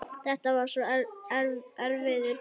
Þetta var svo erfiður tími.